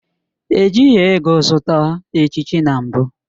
Ejighị ego zụta echichi na mbụ